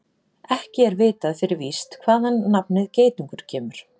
Ekki er vitað fyrir víst hvaðan nafnið geitungur kemur.